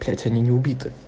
блять они не убиты